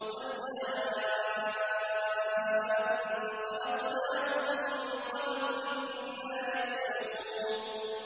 وَالْجَانَّ خَلَقْنَاهُ مِن قَبْلُ مِن نَّارِ السَّمُومِ